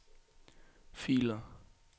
filer